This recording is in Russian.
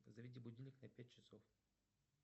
заведи будильник на пять часов